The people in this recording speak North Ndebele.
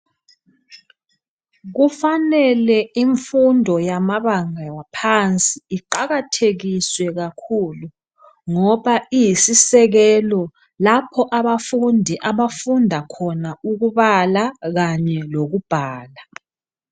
Kufanele imfundo yamabanga waphansi iqakathekiswe kakhulu ngoba iyisisekelo lapho abafundi abafunda khona ukubhala kanye lokubhala